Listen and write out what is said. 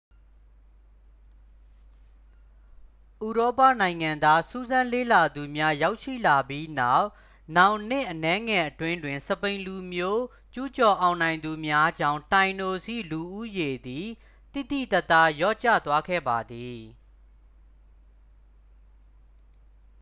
ဥရောပနိုင်ငံသားစူးစမ်းလေ့လာသူများရောက်ရှိလာပြီးနောက် နောင်နှစ်အနည်းငယ်အတွင်းတွင် စပိန်လူမျိုးကျူးကျော်အောင်နိုင်သူများကြောင့် tainos ၏လူဦးရေသည် သိသိသာသာ လျော့ကျသွားခဲ့ပါသည်